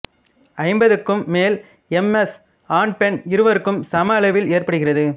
ஐம்பதுக்கு மேல் M S ஆண் பெண் இருவருக்கும் சம அளவில் ஏற்படுகிறது